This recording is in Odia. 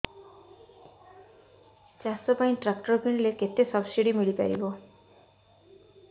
ଚାଷ ପାଇଁ ଟ୍ରାକ୍ଟର କିଣିଲେ କେତେ ସବ୍ସିଡି ମିଳିପାରିବ